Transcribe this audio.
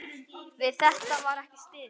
Við þetta var ekki staðið.